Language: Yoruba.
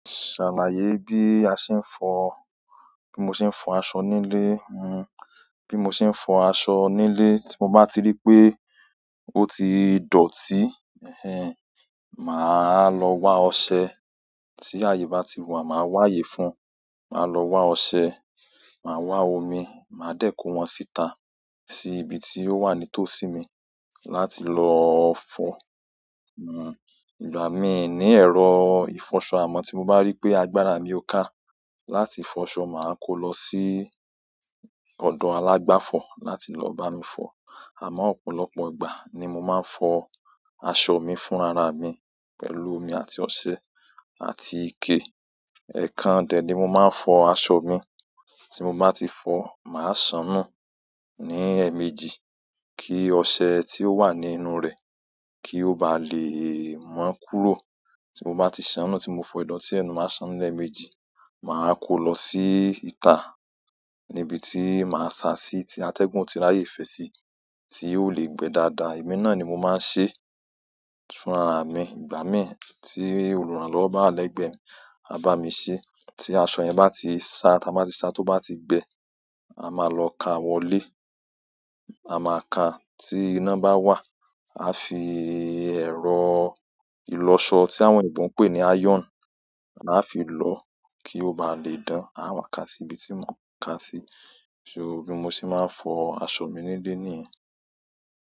Ṣàlàyé bí a ṣe ń fọ-- bí mo ṣe ń fọ aṣọ nílé. Hmm bí mo ṣe ń fọ aṣọ nílé, tí mo bá ti rí pé ó ti dọ̀tí, ẹhen, máa lọ wa ọṣẹ. Ti aye ba ti wa maa wa aye fún, maa lo wa ose, maa wa omi ma de ko won si ita si ibi to wa ni itosi mii láti lo fo hmm ìgbà mí ní ẹ̀rọ ìfọṣọ amọ́, tí mo bá rí pé agbára mi o ká láti fọ aṣọ, máa kó lọ sí ọ̀dọ̀ alágbàfọ̀ láti lọ bá mi fọ. Àmọ̀ ọ̀pọ̀lọpọ̀ ìgbà ni mo máa ń fọ aṣọ mi fún ara mi pẹ̀lú omi àti ọṣẹ àti ike. Ẹ̀kan dẹ̀ ní mo máa ń fọ aṣọ mi. Tí mo bá ti fọ, màá ṣán nù ní ẹ̀meẹjì kí ọṣẹ tí ó wà ni ínú rẹ̀ kí ó ba lè mọ́ kúrò. Tí mo bá ti ṣán nù tí mo fọ ìdọ̀tí ẹ nu, màá ṣán nù lẹ̀mẹjì, màá kó lọ sí ìta níbi tí màá sá sí tí atẹ́gùn o ti ráyè fẹ́ sí, tí ó le gbẹ́ dáadáa. Emi náà ni mo máa ń ṣe fún ara mi. Ìgbà mí tí olùrànlọ́wọ́ bá wa lẹ́gbẹ̀ẹ́ mi, á bá mi ṣé. Tí aṣọ yẹn bá ti sá, táa bá ti sá, tó bá ti gbẹ, a máa lọ ká wọlé. A máa ká tí iná bá wà, a fi ẹ̀rọ ìlọṣọ tí àwọn oyinbo ǹ pè ní iron, a fi lọ́ kí ó ba lè dán. A wá ká sí ibi tí mo n ká sí. So bí mo ṣe máa ń fọ aṣọ mi nílé nìyẹn.